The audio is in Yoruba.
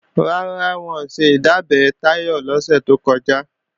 Rárá, wọn ò ṣe ìdábẹ́ Táyọ̀ lọ́sẹ̀ tó kọjá